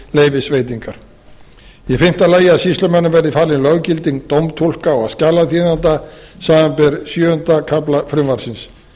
leyfisveitingar í fimmta lagi að sýslumönnum verði falið löggilding dómtúlka og skjalaþýðenda samanber sjöunda kafla frumvarpsins